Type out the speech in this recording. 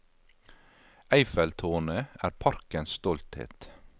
Eiffeltårnet er parkens stolthet.